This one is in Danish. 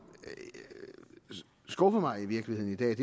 skuffer mig i virkeligheden i dag er